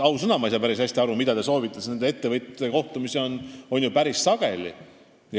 Ausõna, ma ei saa päris hästi aru, mida te soovite, sest ettevõtjatega kohtumisi on päris sageli.